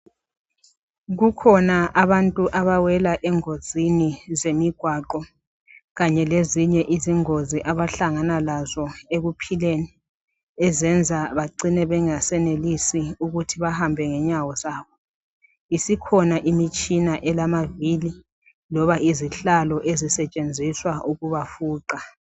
kukhona abantu abawela engozini zemigwaqo kanye lezinye izingozi abahlangana lazo ekuphileni ezenza becine bengasenelisi ukuthi bahambe ngenyawo zabo isikhona imitshina elamavili loba izihlalo ezisetshenziswa ukubafuqa